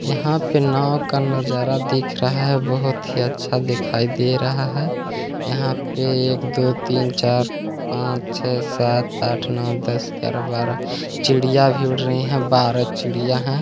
यहाँ पे नाव का नजारा दिख रहा है बहोत ही अच्छा दिखाई दे रहा है यहाँ पे एक दो तीन चार पाँच छे सात आठ नो दस ग्यारह बारह चिड़िया भी उड़ रही है बारह चिड़िया हैं।